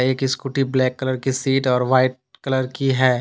एक scooty black colour की seat और व्हाइट कलर की है।